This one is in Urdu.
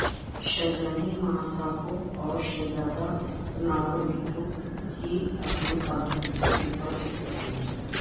شہزادی ماساکو اور شہزادہ ناروہیٹو کی اپنے پالتو کتے کے ساتھ ایک تصویر